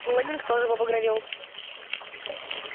лэннинг тоже побагровел